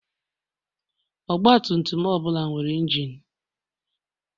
Ọgbatumtum ọbụla nwere injin.